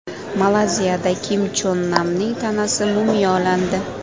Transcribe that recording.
Malayziyada Kim Chon Namning tanasi mumiyolandi.